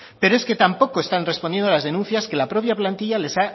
pero es que tampoco están respondiendo a las denuncias que la propia plantilla les